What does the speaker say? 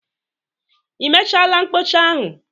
I mechaala mkpụcha ahụ?